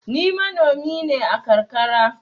Ni manomi ne a karkara.